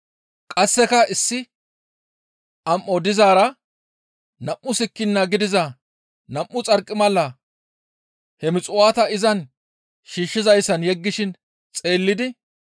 Qasseka issi am7o dizaara nam7u sikkina gidiza nam7u xarqimala he muxuwaata izan shiishshizayssan yeggishin xeellidi,